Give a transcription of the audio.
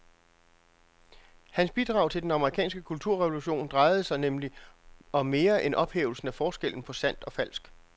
Hans bidrag til den amerikanske kulturrevolution drejede sig nemlig om mere end ophævelsen af forskellen på sandt og falsk.